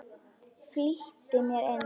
Flýtti mér inn.